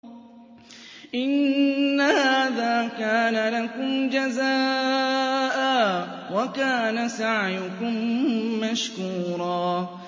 إِنَّ هَٰذَا كَانَ لَكُمْ جَزَاءً وَكَانَ سَعْيُكُم مَّشْكُورًا